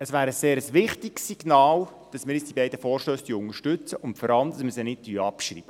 Es wäre ein sehr wichtiges Signal, dass wir die beiden Vorstösse nun unterstützen, und vor allem, dass wir sie nicht abschreiben.